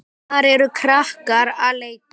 Þar eru krakkar að leika.